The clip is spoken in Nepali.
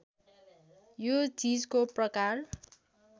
यो चीजको प्रकार